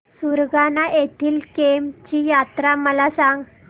सुरगाणा येथील केम्ब ची यात्रा मला सांग